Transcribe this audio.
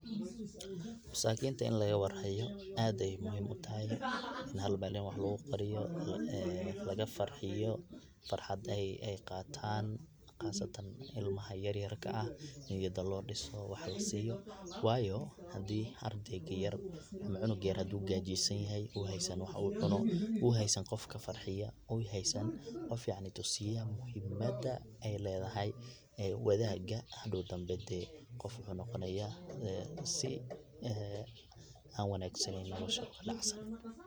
Masakinta in lagawarhayo aad ayey muhiim utahay, hal meel in wax logukariyo, lagafarxiyo, farxad ay qaatan qasatan imaha yaryarka ah niyada lodiso, wax lasiyo wayo hadii ardeyga yar ama cunuga yar hadi uu gajeysanyahay uu heysan wax uu cuno, uu haysan qof kafarxiyo uu heysan qof yacni tusiya muhiimada ey ledahay wadaga hadow dambe dee qof wuxu noqonaya sii wanagsaneyn oo nolasha kadhacsan.